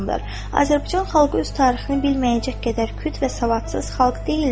Azərbaycan xalqı öz tarixini bilməyəcək qədər küt və savadsız xalq deyildir.